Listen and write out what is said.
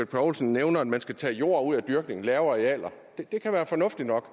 poulsen nævner at man skal tage jord ud af dyrkning lave arealer og det kan være fornuftigt nok